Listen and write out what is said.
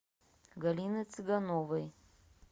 галины цыгановой